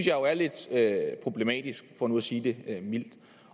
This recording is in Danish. jo er lidt problematisk for nu at sige det mildt